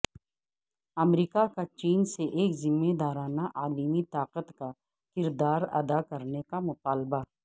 امریکہ کا چین سے ایک ذمہ دارانہ عالمی طاقت کا کردار ادا کرنے کا مطالبہ